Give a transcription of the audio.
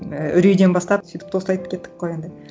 ііі үрейден бастап сөйтіп тост айтып кеттік қой енді